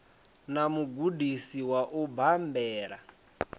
na mugudisi wa u bambela